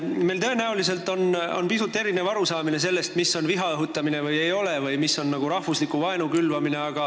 Meil on tõenäoliselt pisut erinev arusaamine sellest, mis on või ei ole viha õhutamine või mis on rahvusliku vaenu külvamine.